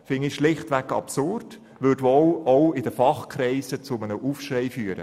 – finde ich schlichtweg absurd, und sie würde wohl auch in den Fachkreisen zu einem Aufschrei führen.